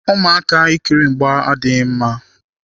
Ụmụaka na-ekiri mgba adịghị mma.